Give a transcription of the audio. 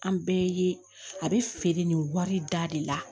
An bɛɛ ye a bɛ feere nin wari da de la